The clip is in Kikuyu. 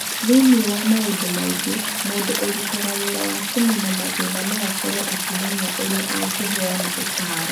Thĩinĩ wa maũndũ mangĩ, mũndũ ũrutaga wĩra wa kũniina mathĩna no akorũo akĩmenya ũrĩa angĩheana ũtaaro,